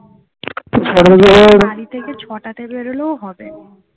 বাড়ি থেকে ছটা তে বেরোলেও হবে